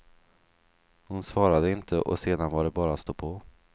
Hon svarade inte och sedan var det bara att stå på.